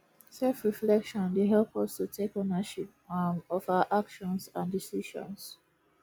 selfreflection dey help us to take ownership um of our actions and decisions